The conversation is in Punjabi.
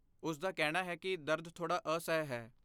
ਉਸ ਦਾ ਕਹਿਣਾ ਹੈ ਕਿ ਦਰਦ ਥੋੜਾ ਅਸਹਿ ਹੈ।